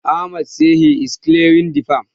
Ahmad sai he is clearing the farm.